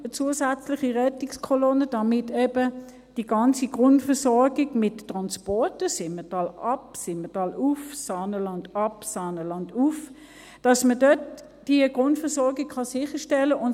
eine zusätzliche Rettungskolonne, damit man eben die Grundversorgung mit Transporten – Simmental-abwärts und -aufwärts, Saanenland-abwärts und -aufwärts – sicherstellen kann.